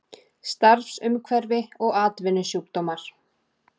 Starfsumhverfi og atvinnusjúkdómar.